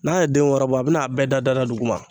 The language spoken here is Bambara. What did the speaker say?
N'a ye den wɔɔrɔ bɔ, a bɛna a bɛɛ da da duguma.